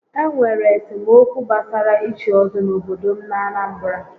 Enwere esemokwu gbasara íchí ọ́zọ́ n'obodo m n'Anambra